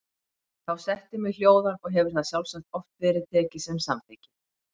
Þá setti mig hljóðan og hefur það sjálfsagt oft verið tekið sem samþykki.